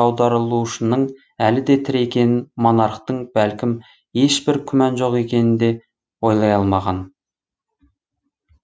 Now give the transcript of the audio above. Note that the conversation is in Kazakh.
аударылушының әлі де тірі екеніне монархтың бәлкім ешбір күмәні жоқ екенін де ойлай алмаған